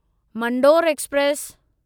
Mandore express